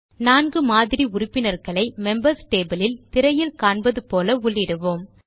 4 மாதிரி உறுப்பினர்களை members table யில் திரையில் காண்பது போல உள்ளிடுவோம்